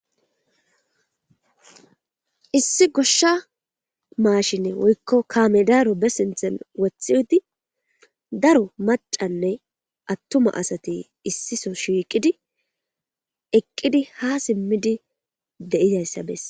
Issi goshsha maashinne woykko kaamedaaro be sinthen wothi udi daro macanne attuma asati issiso shiiqidi eqqidi ha simmidi de7izayssabess.